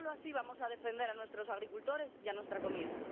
Solo así vamos a defender a nuestros agricultores y nuestra comida.